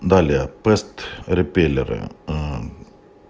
далее пест репеллеры